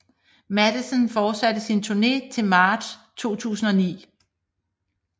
Matthesen fortsatte sin turné til marts 2009